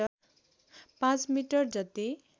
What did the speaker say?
पाँच मिटर जति